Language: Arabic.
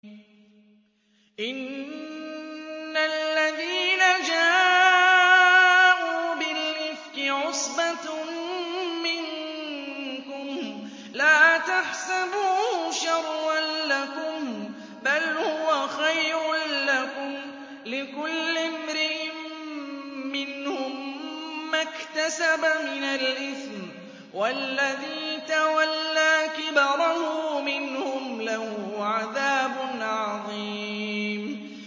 إِنَّ الَّذِينَ جَاءُوا بِالْإِفْكِ عُصْبَةٌ مِّنكُمْ ۚ لَا تَحْسَبُوهُ شَرًّا لَّكُم ۖ بَلْ هُوَ خَيْرٌ لَّكُمْ ۚ لِكُلِّ امْرِئٍ مِّنْهُم مَّا اكْتَسَبَ مِنَ الْإِثْمِ ۚ وَالَّذِي تَوَلَّىٰ كِبْرَهُ مِنْهُمْ لَهُ عَذَابٌ عَظِيمٌ